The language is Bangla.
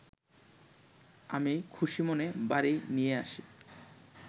আমি খুশিমনে বাড়ি নিয়ে আসি